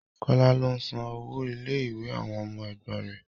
Kọ́lá ló ń san owó ilé ìwé àwọn ọmọ ẹ̀gbọ́n rẹ̀